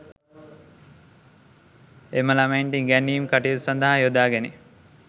එම ළමයින්ට ඉගැන්වීම් කටයුතු සඳහා යොදා ගැනේ